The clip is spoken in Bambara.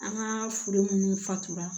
An ka foro minnu fatura